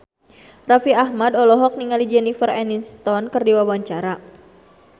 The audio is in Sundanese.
Raffi Ahmad olohok ningali Jennifer Aniston keur diwawancara